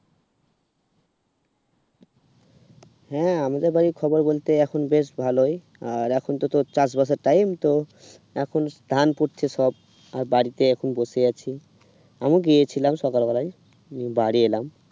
হুম আমাদের ওই খবর বলতে এখন বেশ ভালোই আর এখন তো তোর চাষ বাসের time তো এখন দেন পুঁতছে সব আর বাড়িতে এখন বসে আছি আমি গিয়েছিলাম সকাল বেলায় নিয়ে বাড়ি এলাম।